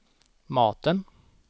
maten